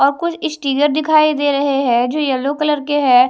और कुछ स्टिकर दिखाई दे रहे है जो येलो कलर के है।